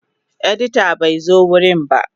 Editan bai zo wurin ba.